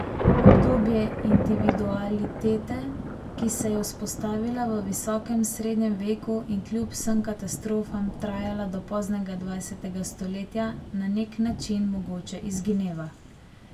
Obdobje individualitete, ki se je vzpostavila v visokem srednjem veku in kljub vsem katastrofam trajala do poznega dvajsetega stoletja, na nek način mogoče izgineva.